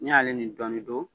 N'i y'ale ni dɔɔni do